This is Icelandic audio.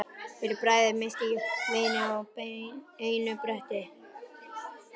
Fyrir bragðið missti ég vini mína á einu bretti.